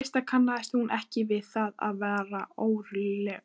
Í fyrstu kannaðist hún ekki við það og varð óróleg.